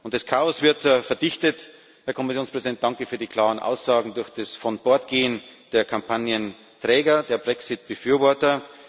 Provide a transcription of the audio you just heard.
Das Chaos wird verdichtet Herr Kommissionspräsident, danke für die klaren Aussagen durch das Vonbordgehen der Kampagnenträger, der Brexit Befürworter.